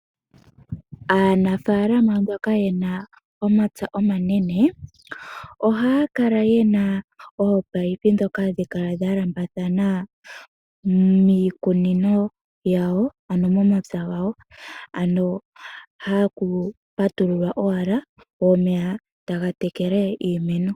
Aanafaalama mboka ye na omapya omanene, ohaya kala ye na oopayipi ndhoka hadhi kala dha lambathana miikunino yawo, ano momapya gawo, hoka haku patululwa owala go omeya taga tekele iimeno.